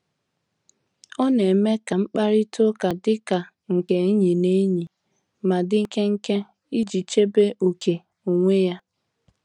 Ọ na-eme ka mkparịta ụka dika nke enyi na enyi, ma di nkenke iji chebe ókè onwe ya.